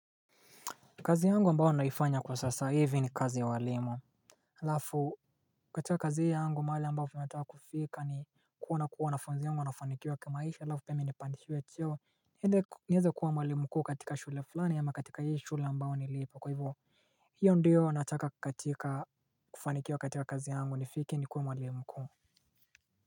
Kazi yangu ambayo naifanya kwa sasa hivi ni kazi ya ualimu aLafu katika kazi hii yangu mahali ambapo nataka kufika ni kuwa na kuwa wanafunzi wangu wanafanikiwa kimaisha alafu pia mimi nipandishwe cheo nieze kuwa mwalimu mkuu katika shule fulani ama katika hii shule ambayo nilipo kwa hivyk. Hiyo ndiyo nataka katika kufanikiwa katika kazi yangu nifike nikuwe mwalimu mkuu. Kwa hivyo.